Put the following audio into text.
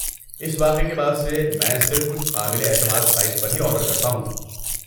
اس واقعے کے بعد سے، میں صرف کچھ قابل اعتماد سائٹس پر ہی آرڈر کرتا ہوں۔